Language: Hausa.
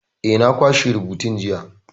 Eh, na kwashe rubutun jiya.